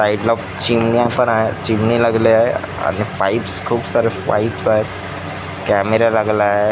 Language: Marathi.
साईडला चिमण्या पण आहे चिमनी लागली आहे आणि पाईप्स खूप सारे पाईप्स आहे कॅमेरा लागला आहे.